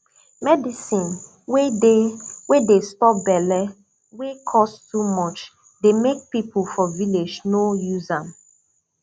medicine wey dey wey dey stop belle wey cost too much dey make people for village no use am